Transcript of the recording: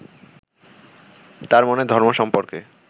তাঁর মনে ধর্ম সম্পর্কে